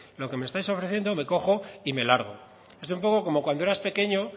lo que me estáis ofreciendo me cojo y me largo es un poco como cuando eras pequeño